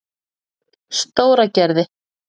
Stóragerði